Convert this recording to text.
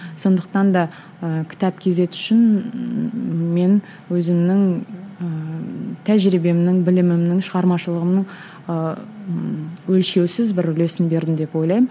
сондықтан да ыыы кітап кейзет үшін мен өзімнің ыыы тәжірибемнің білімімнің шығармашылығымның ыыы өлшеусіз бір үлесін бердім деп ойлаймын